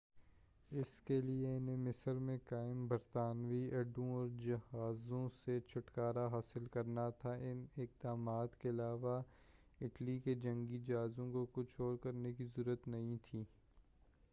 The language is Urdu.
اس کے لیے انہیں مصر میں قائم برطانوی اڈوں اور جہازوں سے چھٹکارہ حاصل کرنا تھا ان اقدامات کے علاوہ اٹلی کے جنگی جہازوں کو کچھ اور کرنے کی ضرورت نہیں تھی